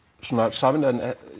sameinaði